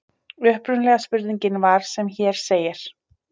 Upprunalega spurningin var sem hér segir: